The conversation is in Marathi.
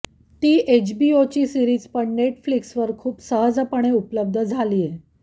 ती एचबीओची सीरिज पण नेटफ्लिक्सवर खूप सहजपणे उपलब्ध झालीय